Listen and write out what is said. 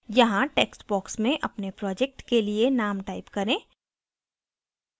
यहाँ text box में अपने project के लिए name type करें